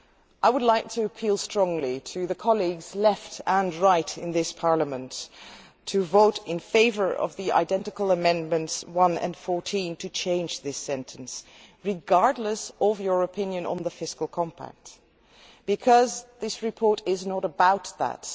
I would appeal strongly to colleagues on the left and the right in this Parliament to vote in favour of the identical amendments 1 and 14 to change this sentence, regardless of your opinion on the Fiscal Compact, because this report is not about that.